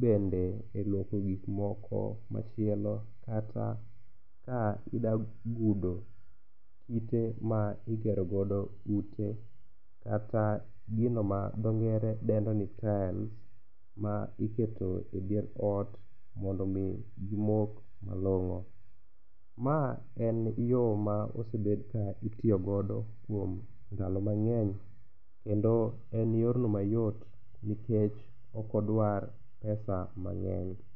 bende e luoko gikmoko machielo kata ka ida gudo kite ma igerogodo ute kata gino ma dho ngere dendo ni tiles ma iketo e dier ot mondo omi gimok malong'o. Ma en yo ma osebed kitiyogodo kuom ndalo mang'eny kendo en yorno mayot nikech okodwar pesa mang'eny.